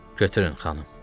Götürün, xanım.